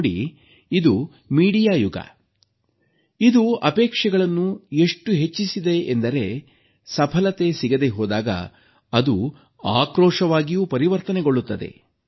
ನೋಡಿ ಇದು ಮಾಧ್ಯಮ ಯುಗ ಇದು ಅಪೇಕ್ಷೆಗಳನ್ನು ಎಷ್ಟು ಹೆಚ್ಚಿಸಿದೆ ಎಂದರೆ ಸಫಲತೆ ಸಿಗದೇ ಹೋದಾಗ ಅದು ಆಕ್ರೋಶವಾಗಿಯೂ ಪರಿವರ್ತನೆಗೊಳ್ಳುತ್ತದೆ